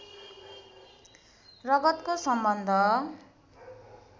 रगतको सम्बन्ध